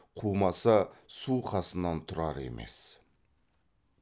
қумаса су қасынан тұрар емес